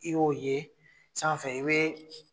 I y'o ye san i be